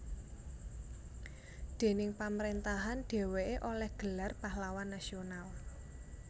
Déning pamrentahan dheweke oleh gelar Pahlawan Nasional